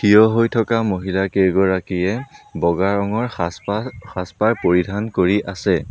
থিয় হৈ থকা মহিলা কেইগৰাকীয়ে বগা ৰঙৰ সাজ পা সাজ পাৰ পৰিধান কৰি আছে।